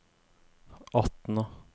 Atna